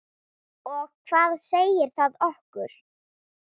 Og hvað segir það okkur?